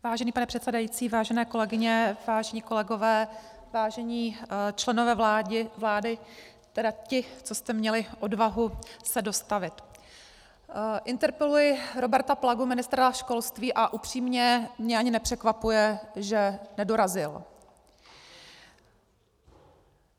Vážený pane předsedající, vážené kolegyně, vážení kolegové, vážení členové vlády, tedy ti, co jste měli odvahu se dostavit, interpeluji Roberta Plagu, ministra školství, a upřímně mě ani nepřekvapuje, že nedorazil.